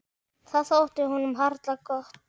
Það þótti honum harla gott.